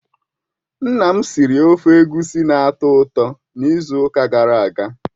Nna m siri ofe Egusi na-atọ ụtọ n'izu ụka gara aga.